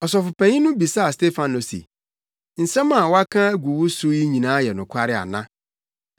Ɔsɔfopanyin no bisaa Stefano se, “Nsɛm a wɔaka agu wo so no nyinaa yɛ nokware ana?”